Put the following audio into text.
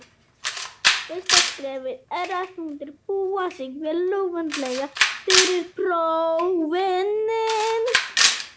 Fyrsta skrefið er að undirbúa sig vel og vandlega fyrir próf.